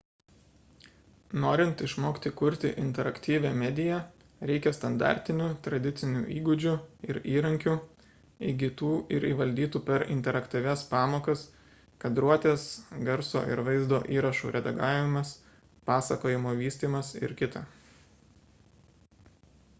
norint išmokti kurti interaktyvią mediją reikia standartinių tradicinių įgūdžių ir įrankių įgytų ir įvaldytų per interaktyvias pamokas kadruotės garso ir vaizdo įrašų redagavimas pasakojimo vystymas ir kt.